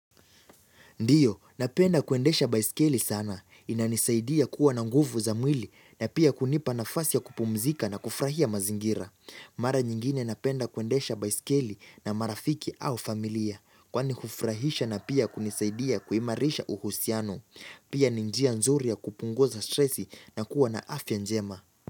Ndiyo, napenda kuendesha baiskeli sana. Inanisaidia kuwa na nguvu za mwili na pia kunipa nafasi ya kupumzika na kufurahia mazingira. Mara nyingine napenda kuendesha baiskeli na marafiki au familia. Kwa ni hufurahisha na pia kunisaidia kuimarisha uhusiano. Pia ni njia nzuri ya kupunguza stresi na kuwa na afya njema.